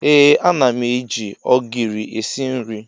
Ee ana m eji ogiri esi nri.